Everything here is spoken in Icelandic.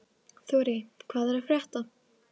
Þurí, hvað er að frétta?